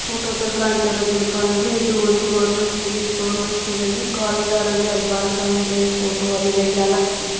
ಫೋಟೋದಲ್ಲಿ ಕಾಣುತ್ತಾ ಇರುವುದು ಏನಪ್ಪ ಅಂತ ಅಂದರೆ ಇದು ಒಂದು ಗೌರ್ಮೆಂಟ್ ಸ್ಕೂಲು ಈ ಗೌರ್ಮೆಂಟ್ ಸ್ಕೂಲ್ನಲ್ಲಿ ಕೋರಿದೊರ್ ಅಲ್ಲಿ ಭಾರತಾಂಬೆ ಫೋಟೋ ಆಮೇಲೆ ಗ್ಯಾಲಕ್ಸಿ --